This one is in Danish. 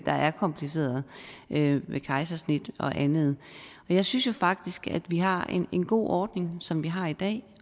der er komplicerede med kejsersnit og andet jeg synes jo faktisk at vi har en god ordning som vi har i dag